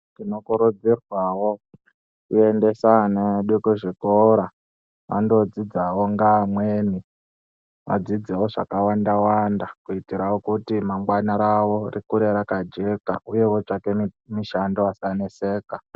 Tinokurudzirwawo kuendesa ana edu kuzvikora andodzidzawo ngeamweni adzidzewo zvakawanda wanda kuitira wo kuti ramangwana ravo rikurewo raka jeka kana kuti otsvake mishando asaneseka.